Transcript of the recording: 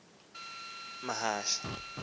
loo mahashe akhwele